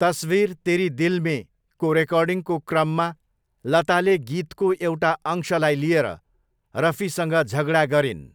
तसवीर तेरी दिल मे' को रेकर्डिङको क्रममा लताले गीतको एउटा अंशलाई लिएर रफीसँग झगडा गरिन्।